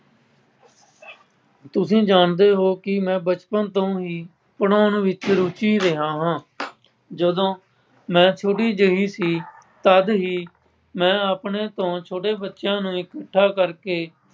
ਤੁਸੀਂ ਜਾਣਦੇ ਹੋ ਕਿ ਮੈਂ ਬਚਪਨ ਤੋਂ ਹੀ ਪੜ੍ਹਾਉਣ ਵਿੱਚ ਰੁਚੀ ਰਿਹਾ ਹਾਂ। ਜਦੋਂ ਮੈਂ ਥੋੜ੍ਹੀ ਜਿਹੀ ਸੀ ਤਦ ਹੀ ਮੈਂ ਆਪਣੇ ਤੋਂ ਛੋਟੇ ਬੱਚਿਆਂ ਨੂੰ ਇਕੱਠਾ ਕਰਕੇ